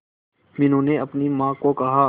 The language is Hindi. मीनू ने अपनी मां को कहा